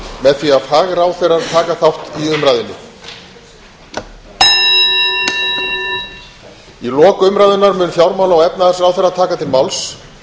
með því að fagráðherrar taka þátt í umræðunni í lok umræðunnar mun fjármála og efnahagsráðherra taka til máls